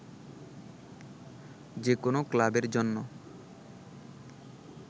যে কোন ক্লাবের জন্য